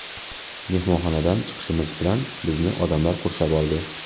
Mehmonxonadan chiqishimiz bilan bizni odamlar qurshab oldi.